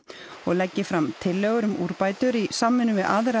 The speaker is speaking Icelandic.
og leggi fram tillögur um úrbætur í samvinnu við aðrar